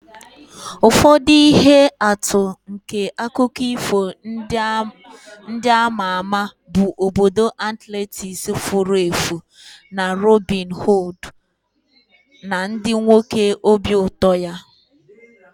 Ụfọdụ ihe atụ nke akụkọ ifo ndị a ma ama bụ obodo Atlantis furu efu na Robin Hood na ndị nwoke obi ụtọ ya.